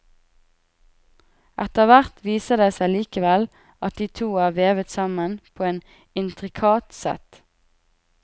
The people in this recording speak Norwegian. Etterhvert viser det seg likevel at de to er vevet sammen på et intrikat sett.